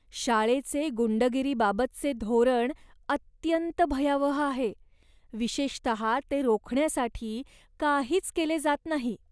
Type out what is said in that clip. शाळेचे गुंडगिरीबाबतचे धोरण अत्यंत भयावह आहे, विशेषत ते रोखण्यासाठी काहीच केले जात नाही.